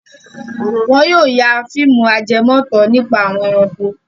Wọn yóò ya fíìmù ajẹmòótọ́ nípa àwọn ẹranko.